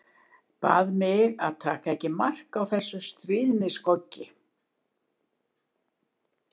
Bað mig að taka ekki mark á þessum stríðnisgoggi.